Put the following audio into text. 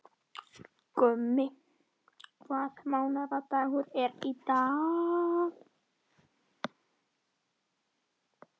Gummi, hvaða mánaðardagur er í dag?